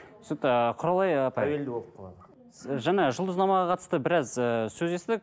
түсінікті құралай ы тәуелді болып қалады жаңа жұлдызнамаға қатысты біраз ыыы сөз естідік